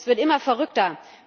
Es wird immer verrückter!